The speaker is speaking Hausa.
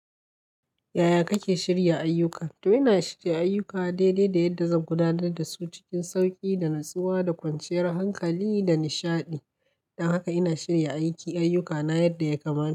Yaya kake shirya ayyuka? To, ina shirya ayyuka daidai da yadda zan gudanar da su cikin sauƙi da natsuwa da kwanciyar hankali da nishaɗi. Don haka ina shirya ayyukana yadda ya kamata.